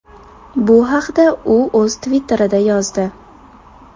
Bu haqda u o‘z Twitter’ida yozdi .